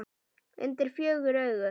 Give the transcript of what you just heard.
Undir fjögur augu.